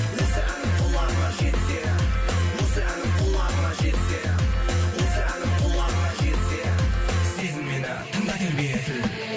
осы әнім құлағыңа жетсе осы әнім құлағыңа жетсе осы әнім құлағыңа жетсе сезіммен тыңда